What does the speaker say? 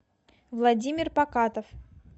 владимир покатов